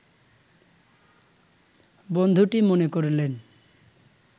বন্ধুটি মনে করলেন